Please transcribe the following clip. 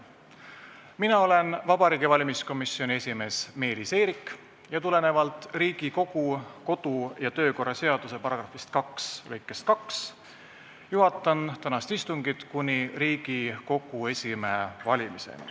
Mina olen Vabariigi Valimiskomisjoni esimees Meelis Eerik ning tulenevalt Riigikogu kodu- ja töökorra seaduse § 2 lõikest 2 juhatan tänast istungit kuni Riigikogu esimehe valimiseni.